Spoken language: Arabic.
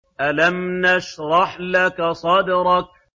أَلَمْ نَشْرَحْ لَكَ صَدْرَكَ